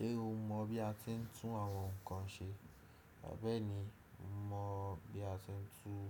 Ṣé o mọ̀ bí a tiń tún àwọn nkan ṣe? Bẹ́ẹ̀ni, mo mọ̀ bí a ti ń tún